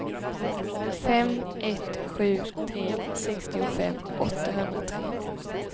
fem ett sju tre sextiofem åttahundratre